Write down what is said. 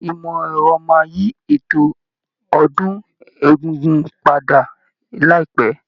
Ìmọ̀ ẹ̀rọ máa yí eto ọdún egúngún padà láìpẹ́.